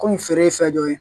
Kɔmi feere ye fɛn dɔ ye